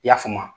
I y'a faamu